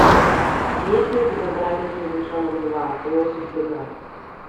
есть ли у тебя братец медвежонок два лось в бегах